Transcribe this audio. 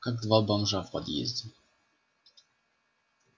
как два бомжа в подъезде